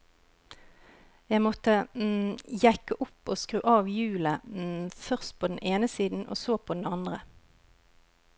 Jeg måtte jekke opp og skru av hjulet, først på den ene siden og så på den andre.